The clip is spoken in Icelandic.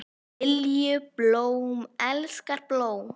Lilju, blóm elskar blóm.